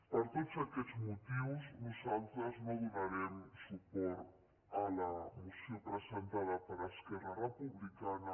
per tots aquests motius nosaltres no donarem suport a la moció presentada per esquerra republicana